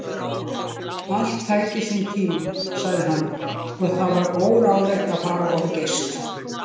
Allt tæki sinn tíma, sagði hann, og það væri óráðlegt að fara of geyst.